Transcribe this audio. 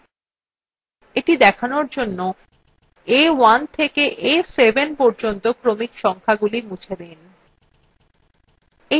এটি দেখানোর জন্য a1 থেকে a7 পর্যন্ত ক্রমিক সংখাগুলি মুছে দিন